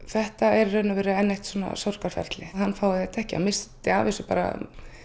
þetta er enn eitt sorgarferlið að hann fái þetta ekki hann missti af þessu bara